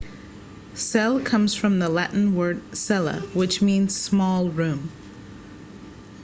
cell comes from the latin word cella which means small room